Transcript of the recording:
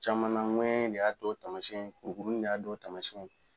Caman na, ŋɛɲɛn de y'a dow tamasiɲɛn ye, kurukuruni de y'a dow tamasiɲɛn ye.